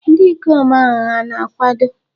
Ndị ikom ahụ hà na-akwado?